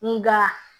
Nga